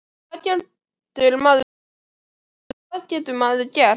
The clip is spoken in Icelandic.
Hvað getur maður sagt og hvað getur maður gert?